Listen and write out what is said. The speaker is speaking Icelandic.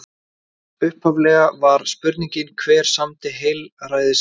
Upphaflega var spurningin: Hver samdi heilræðavísur?